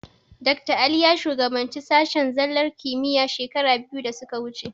Dakta Ali ya shugabanci sashen zallar kimiyya shekara biyu da suka wuce.